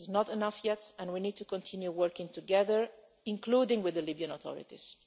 It is not enough yet and we need to continue working together, including with the Libyan authorities.